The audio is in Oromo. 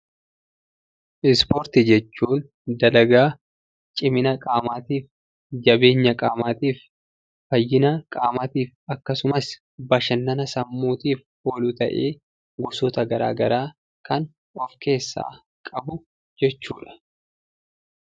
Ispoortii jechuun dalagaa cimina qaamaatiif, jabeenya qaamaatiif, fayyina qaamaatiif, akkasumas bashannana sammuutiif oolu ta'ee, gosoota garaagaraa kan of keessaa qabu jechuu dha.